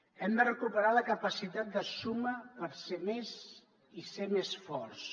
hem de recuperar la capacitat de suma per ser més i ser més forts